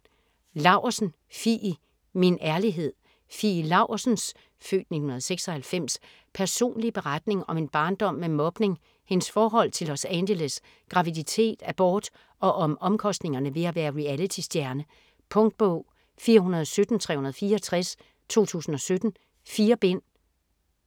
Laursen, Fie: Min ærlighed Fie Laursens (f. 1996) personlige beretning om en barndom med mobning, hendes forhold til Los Angeles, graviditet, abort og om omkostningerne ved at være realitystjerne. Punktbog 417364 2017. 4 bind.